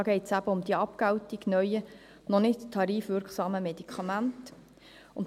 Es geht um die Abgeltung noch nicht tarifwirksamer Medikamente.